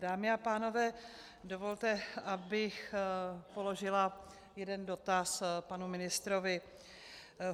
Dámy a pánové, dovolte, abych položila jeden dotaz panu ministrovi.